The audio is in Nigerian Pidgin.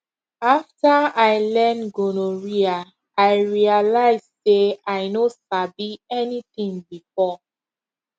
after i learn gonorrhea i realize say i no sabi anything before